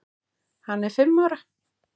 Hann er fimm ára.